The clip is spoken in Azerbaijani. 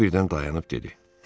O birdən dayanıb dedi.